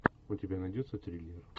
у тебя найдется триллер